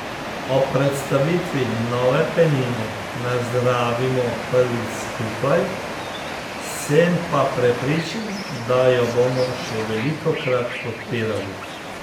Ob predstavitvi nove penine nazdravimo prvič skupaj, sem pa prepričan, da jo bomo še velikokrat odpirali.